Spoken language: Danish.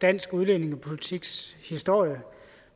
dansk udlændingepolitiks historie